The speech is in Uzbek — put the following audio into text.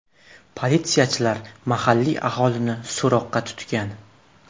Politsiyachilar mahalliy aholini so‘roqqa tutgan.